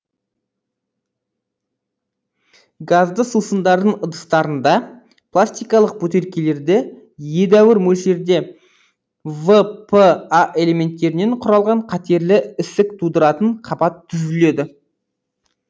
газды сусындардың ыдыстарында пластикалық бөтелкелерде едәуір мөлшерде вра элементтерінен құралған қатерлі ісік тудыратын қабат түзіледі